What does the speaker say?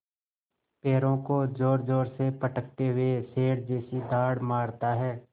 पैरों को ज़ोरज़ोर से पटकते हुए शेर जैसी दहाड़ मारता है